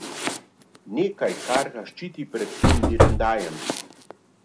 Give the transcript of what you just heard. Nekaj, kar ga ščiti pred tem direndajem.